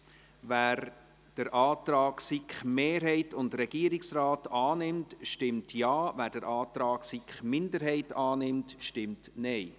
Wer den Antrag von SiK-Mehrheit und Regierungsrat annimmt, stimmt Ja, wer den Antrag SiK-Minderheit annimmt, stimmt Nein.